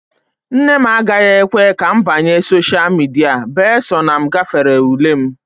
nne m agaghị ekwe ka m banye sosha midia bee sọ na m gafere ule m